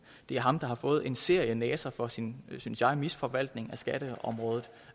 det er ham der har fået en serie næser for sin synes jeg misforvaltning af skatteområdet